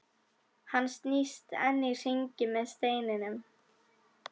Hann snýst enn í hringi með steininn.